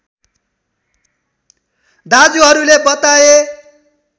दाजुहरूले बताए